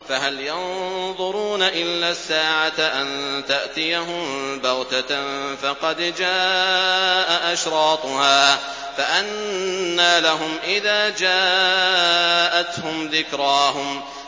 فَهَلْ يَنظُرُونَ إِلَّا السَّاعَةَ أَن تَأْتِيَهُم بَغْتَةً ۖ فَقَدْ جَاءَ أَشْرَاطُهَا ۚ فَأَنَّىٰ لَهُمْ إِذَا جَاءَتْهُمْ ذِكْرَاهُمْ